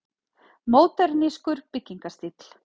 Módernískur byggingarstíll.